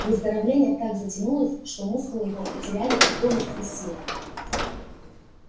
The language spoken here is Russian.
выздоровление так затянулось что мускулы его потеряли упругость и силу